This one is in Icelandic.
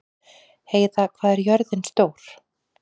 Heiða, hvað er jörðin stór?